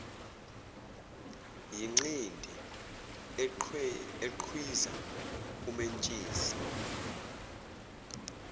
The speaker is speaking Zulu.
yinqindi eqhwiza umentshisi